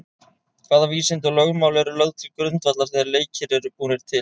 Hvaða vísindi og lögmál eru lögð til grundvallar þegar leikir eru búnir til?